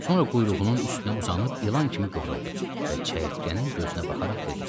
Sonra quyruğunun üstünə uzanıb ilan kimi qıvrıldı və çəyirtkənin gözünə baxaraq dedi: